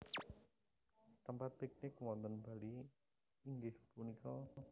Tempat piknik wonten Bali inggih punika